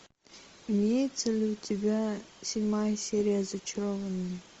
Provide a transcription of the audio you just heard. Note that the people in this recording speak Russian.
имеется ли у тебя седьмая серия зачарованные